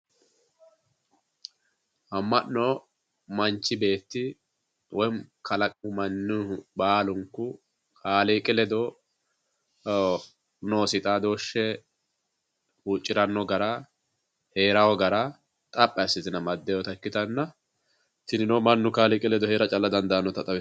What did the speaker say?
Ama'no manchi beetti woyi kalaqamu mannuhu baalunku kaaliiqi ledo noosi xaadoshe huuccirano gara heerano gara xaphi assite amadinotta ikkittanna tini mannu kaaliiqi ledo heera dandaanotta xawisano.